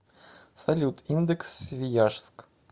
салют индекс свияжск